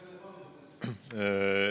Teie aeg!